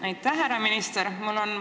Aitäh, härra minister!